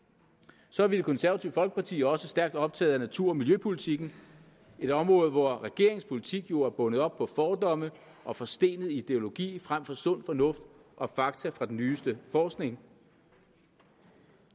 så er vi i det konservative folkeparti også stærkt optaget af natur og miljøpolitikken et område hvor regeringens politik jo er bundet op på fordomme og forstenet ideologi frem for på sund fornuft og fakta fra den nyeste forskning